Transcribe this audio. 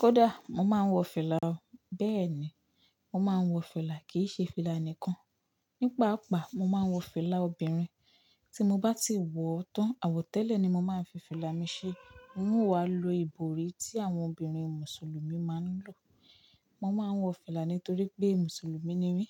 Kódà, mo máa ń wọ fìlà o, bẹ́ẹ̀ ni, mo máa ń wọ fìlà, kì í ṣe fìlà nìkan. Ní pa àpá, mo máa ń wọ fìlà obìnrin. Tí mo bá ti wọ̀ tán, àwọ̀tẹ́lẹ̀ ni mo máa ń fi fìlà mi ṣe. N ó wá lo ìborí tí àwọn obìnrin Mùsùlùmí máa ń lò. Mo máa ń wọ fìlà nítorí pé Mùsùlùmí ni mí.